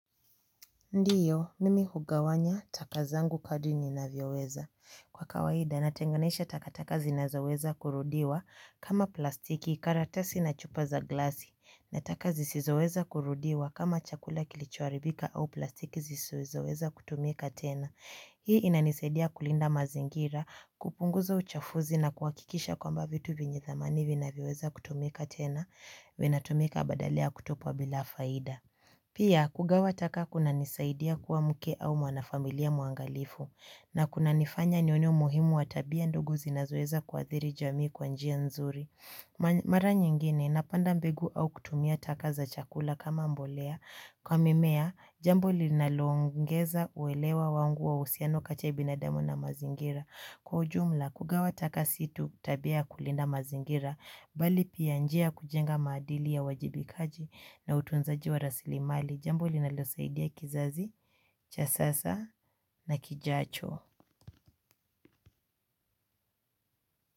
Ndiyo, mimi hugawanya taka zangu kadri ninavyoweza. Kwa kawaida, natenganisha takataka zinazoweza kurudiwa kama plastiki, karatasi na chupa za glasi. Na taka zisizoweza kurudiwa kama chakula kilichoharibika au plastiki zisizoweza kutumika tena. Hii inanisaidia kulinda mazingira, kupunguza uchafuzi na kuhakikisha kwamba vitu vyenye thamani vinavyoweza kutumika tena. Vinatumika badala ya kutupwa bila faida. Pia, kugawa taka kunanisaidia kuwa mke au mwanafamilia mwangalifu na kunanifanya nione umuhimu wa tabia ndogo zinazoweza kuadhiri jamii kwa njia nzuri. Mara nyingine napanda mbegu au kutumia taka za chakula kama mbolea kwa mimea jambo linaloongeza uelewa wangu wa uhusiano kati ya binadamu na mazingira. Kwa ujumla, kugawa taka si tu tabia ya kulinda mazingira, bali pia njia ya kujenga maadili ya uajibikaji na utunzaji wa rasili mali, jambo linalosaidia kizazi, cha sasa na kijacho.